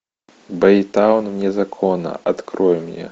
бэйтаун вне закона открой мне